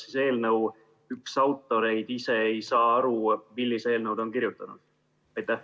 Kas eelnõu üks autoreid ise ei saa aru, millise eelnõu ta on kirjutanud?